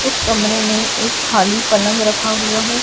उस कमरे में एक खाली पलंग रखा हुआ है।